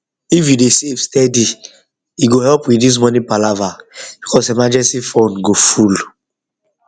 if you dey save steady e go help reduce money palava because emergency fund go full um